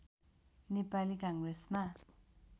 नेपाली काङ्ग्रेसमा